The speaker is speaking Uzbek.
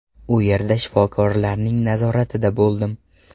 U yerda shifokorlarning nazoratida bo‘ldim.